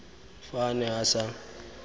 fa a ne a sa